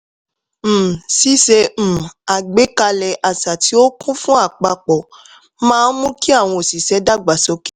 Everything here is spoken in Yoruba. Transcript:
um ṣíṣe um àgbékalẹ̀ àṣà tí ó kún fún àpapọ̀ máa ń mú kí àwọn òṣìṣẹ́ dàgbà sókè.